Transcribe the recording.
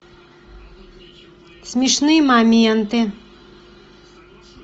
смешные моменты